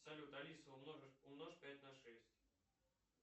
салют алиса умножь пять на шесть